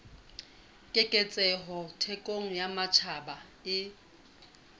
keketseho thekong ya matjhaba e